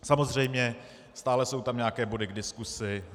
Samozřejmě stále jsou tam nějaké body k diskusi.